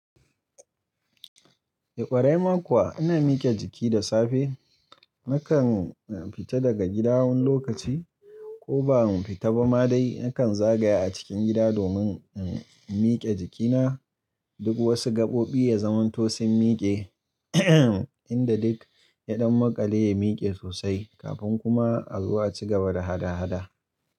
Ƙwarai ma kuwa ina mike jiki da safe. Nakan fita daga gida wani lokaci ko ba fita ba ma dai nakan zagaya a cikin gida domin in mike jikina. Duk wasu gaɓoɓi ya zamanto sun mike inda duk yaɗan maƙale ya mike sosai kafin kuma a zo aci gaba da hada hada.